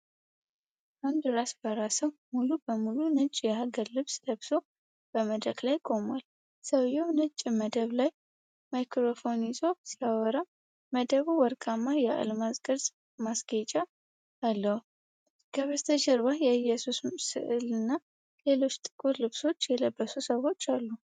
አንድ ራሰ በራ ሰው ሙሉ በሙሉ ነጭ የሀገር ልብስ ለብሶ በመድረክ ላይ ቆሟል። ሰውዬው ነጭ መደብ ላይ ማይክሮፎን ይዞ ሲያወራ፣ መደቡ ወርቃማ የአልማዝ ቅርጽ ማስጌጫ አለው። ከበስተጀርባ የኢየሱስ ሥዕልና ሌሎች ጥቁር ልብስ የለበሱ ሰዎች አሉ።